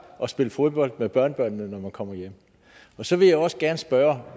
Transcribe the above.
og spille fodbold med børnebørnene når man kommer hjem så vil jeg også gerne spørge